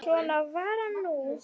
Svona var hann nú.